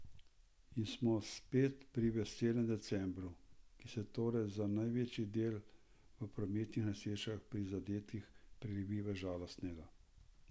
In smo spet pri veselem decembru, ki se torej za največji del v prometnih nesrečah prizadetih prelevi v žalostnega.